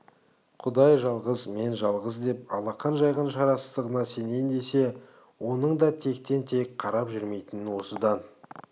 құдай жалғыз мен жалғыз деп алақан жайған шарасыздығына сенейін десе оның да тектен-тек қарап жүрмейтінін осыдан